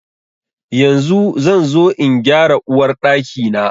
Yanzu zan zo in gyara Uwar Ɗaki na.